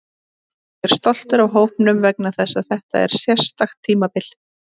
Ég er stoltur af hópnum vegna þess að þetta er sérstakt tímabil.